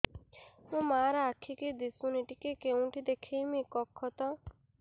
ମୋ ମା ର ଆଖି କି ଦିସୁନି ଟିକେ କେଉଁଠି ଦେଖେଇମି କଖତ